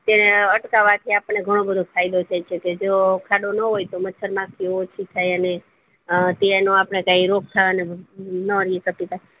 ત્યાં અટકાવ છે આપણને ઘણું બધું ફાયદો છે કે જો ખાડો નો હોય તો મચ્છર માખી ઓછી થાય અને અ તેનો રોગ થવાના ના